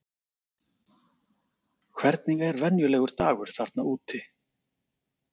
Hvernig er venjulegur dagur þarna úti?